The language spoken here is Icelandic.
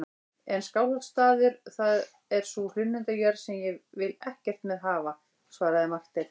En Skálholtsstaður, það er sú hlunnindajörð sem ég vil ekkert með hafa, svaraði Marteinn.